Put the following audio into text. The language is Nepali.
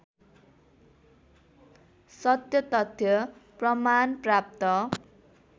सत्यतथ्य प्रमाण प्राप्त